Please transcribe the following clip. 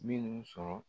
Minnu sɔrɔ